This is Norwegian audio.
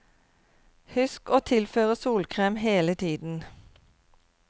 Husk å tilføre solkerm hele tiden.